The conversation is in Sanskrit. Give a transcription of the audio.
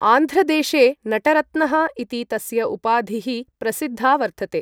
आन्ध्रदेशे नटरत्नः इति तस्य उपाधिः प्रसिद्धा वर्तते ।